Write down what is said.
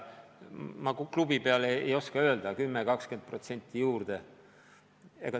Ma klubi peale ei oska täpselt öelda, aga 10–20% on juurde vaja.